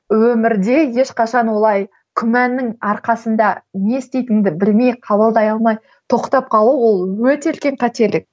өмірде ешқашан олай күмәннің арқасында не істейтініңді білмей қабылдай алмай тоқтап қалу ол өте үлкен қателік